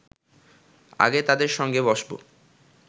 আগে তাদের সঙ্গে বসব